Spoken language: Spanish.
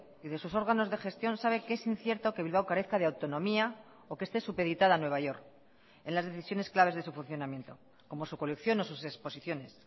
y de sus órganos de gestión sabe que es incierto que bilbao carezca de autonomía o que este supeditada a nueva york en las decisiones claves de su funcionamiento como su colección o sus exposiciones